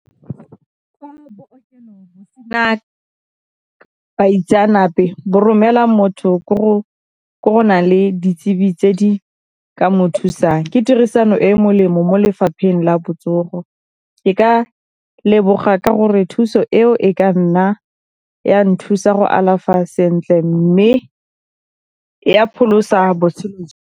baitseanape bo romela motho le ditsebi tse di ka mo thusang. Ke tirisano e e molemo mo lefapheng la botsogo. Ke ka leboga ka gore thuso eo e ka nna ya nthusa go alafa sentle mme ya pholosa .